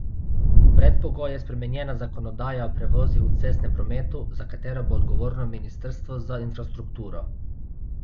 Predpogoj je spremenjena zakonodaja o prevozih v cestnem prometu, za katero bo odgovorno ministrstvo za infrastrukturo.